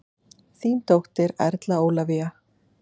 Þín dóttir, Erla Ólafía.